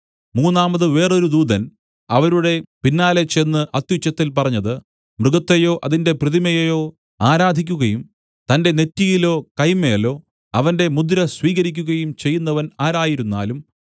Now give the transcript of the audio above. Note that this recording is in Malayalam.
മൂന്നാമതു വേറൊരു ദൂതൻ അവരുടെ പിന്നാലെ ചെന്ന് അത്യുച്ചത്തിൽ പറഞ്ഞത് മൃഗത്തെയോ അതിന്റെ പ്രതിമയേയോ ആരാധിക്കുകയും തന്റെ നെറ്റിയിലോ കൈമേലോ അവന്റെ മുദ്ര സ്വീകരിക്കുകയും ചെയ്യുന്നവൻ ആരായിരുന്നാലും